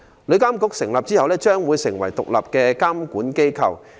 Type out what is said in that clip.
旅監局成立後，將會成為獨立的監管機構。